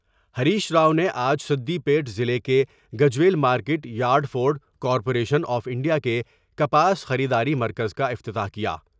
ہریش راؤ نے آج سدی پیٹ ضلع کے Gajwel market yard food corporation of India کے کپاس خریداری مرکز کا افتتاح کیا ۔